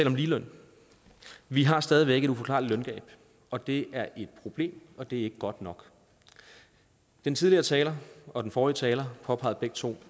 om ligeløn vi har stadig væk et uforklarligt løngab og det er et problem og det er ikke godt nok den tidligere taler og den forrige taler påpegede begge to